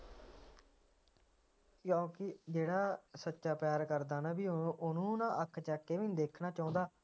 ਕਿਉਂਕਿ ਜਿਹੜਾ ਸੱਚਾ ਪਿਆਰ ਕਰਦਾ ਨਾ ਜੀ ਓਹਨੂੰ ਨਾ ਅੱਖ ਚੱਕਕੇ ਵੀ ਨਹੀਂ ਦੇਖਣਾ ਚੋਂਦਾ